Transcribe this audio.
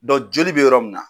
joli bɛ yɔrɔ min na.